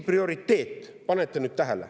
Pange nüüd tähele!